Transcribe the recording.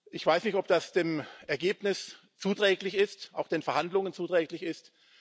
Ich weiß nicht, ob das dem Ergebnis zuträglich ist, auch den Verhandlungen zuträglich ist.